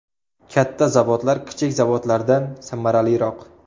Katta zavodlar kichik zavodlardan samaraliroq.